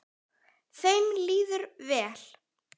Þeim líður vel.